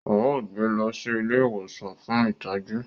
Ao gbé lọ sí ilé ìwòsan fún ìtọjú